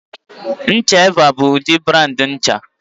Ncha Evaa bụ udịri brandị ncha